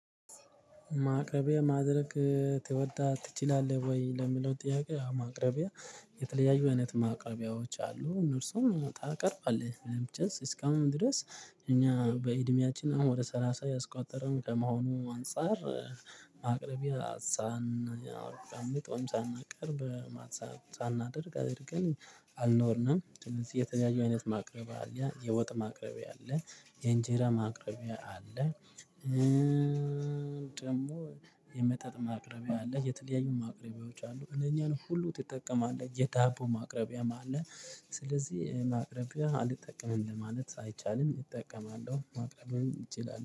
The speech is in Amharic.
ማቅረቢያ ማድረቅ ትወዳ ትችላለህ ወይ? ለሚለው ጥያቄ አው ማቅረቢያ የተለያዩ አይነት ማቅረቢያዎች አሉ እነርሱም ታቀርባለህ ለምችስ እስካሁን ድረስ። እኛ በእድሜያችን አሁን ወደ ሰላሳ እያስቆጠርን ከመሆኑ አንፃር። ማቅረቢያ ሳህን ያው ቀመጥ ሳናቀርብ ማለት ሳናደርግ አድርገን አልኖርንም እንደዚህ የተለያዩ አይነት ማቅረብ አለያ የወጥ ማቅረብ አለ የእንጀራ ማቅረቢያ አለ። ደግሞ የመጠጥ ማቅረቢያ አለ የተለያዩ ማቅረቢያዎች አሉ እነኛን ሁሉ ትጠቀማለህ የዳቦ ማቅረቢያም አለ። ስለዚህ ማቅረቢያ አልጠቀምም ለማለት አይቻልም እጠቀማለሁ ማቅረብም እችላለሁ